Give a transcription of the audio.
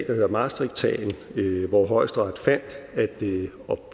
hedder maastrichtsagen hvor højesteret